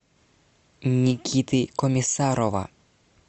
никиты комиссарова